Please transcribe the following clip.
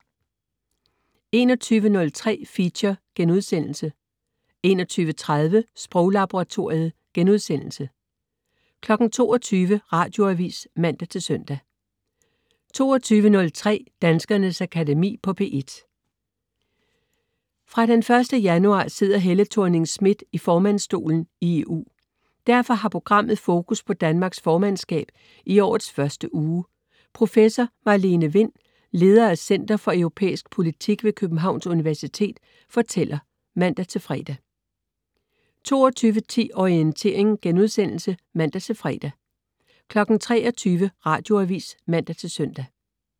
21.03 Feature* 21.30 Sproglaboratoriet* 22.00 Radioavis (man-søn) 22.03 Danskernes Akademi på P1. Fra den første januar sidder Helle Thorning-Schmidt i formandsstolen i EU. Derfor har programmet fokus på Danmarks formandskab i årets første uge. Professor Marlene Wind, leder af center for Europæisk Politik ved Københavns Universitet, fortæller (man-fre) 22.10 Orientering* (man-fre) 23.00 Radioavis (man-søn)